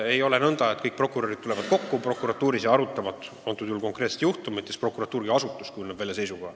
Ei ole nõnda, et kõik prokurörid tulevad prokuratuuris kokku ja arutavad konkreetset juhtumit ja siis prokuratuur kui asutus kujundab välja seisukoha.